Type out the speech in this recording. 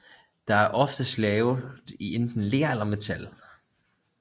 Det er oftest lavet i enten ler eller metal